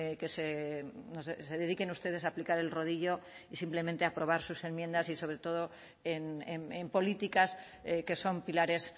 que se dediquen ustedes a aplicar el rodillo y simplemente aprobar sus enmiendas y sobre todo en políticas que son pilares